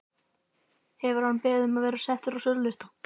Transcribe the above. Hefur hann beðið um að vera settur á sölulista?